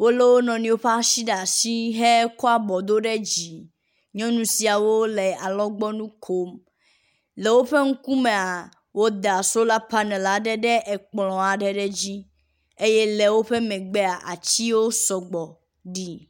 Wo le wo nɔnɔewo ƒe asi ɖe asi hekɔ abɔ do ɖe dzi. Nyɔnu siawo le alɔgbɔnu kom. Le woƒe ŋkumea woda sola panel aɖe ɖe ekplɔ dzi eye le wo megbea atsiwo sgbɔ ɖi.